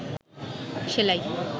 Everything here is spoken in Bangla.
সেলাই